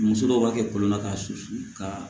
Muso dɔw b'a kɛ kɔlɔn na k'a susu ka